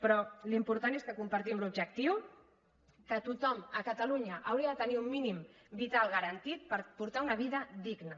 però l’important és que compartim l’objectiu que tothom a catalunya hauria de tenir un mínim vital garantit per portar una vida digna